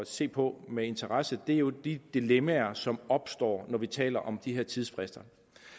se på med interesse er jo de dilemmaer som opstår når vi taler om de her tidsfrister